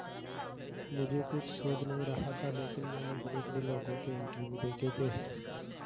मुझे कुछ सूझ नहीं रहा था लेकिन मैंने बड़ेबड़े लोगों के इंटरव्यू देखे थे